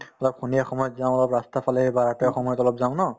অলপ সন্ধিয়া সময়ত যাওঁ অলপ ৰাস্তাৰফালে বা সময়ত অলপ যাওঁ ন